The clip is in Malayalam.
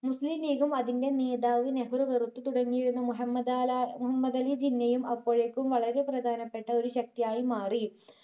മുസ്ലിം league ഉം അതിന്റെ നേതാവ് നെഹ്‌റു വെറുത്തു തുടങ്ങിയിരുന്നു. മുഹമ്മദ് ആലാ മുഹമ്മദ് അലി ജിന്നയും അപ്പോഴേക്കും വളരെ പ്രധാനപ്പെട്ട ഒരു ശക്തി ആയി മാറി.